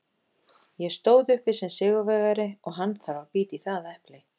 Ég stóð uppi sem sigurvegari og hann þarf að bíta í það epli.